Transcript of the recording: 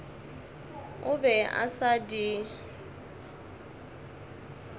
o be a sa di